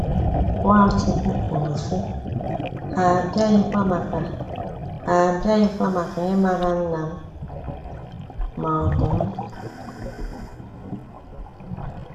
Nwachukwu kwuru sị: “Ha abiaghịkwa maka “Ha abiaghịkwa maka ịmara Nnam ma ọ bụ m.”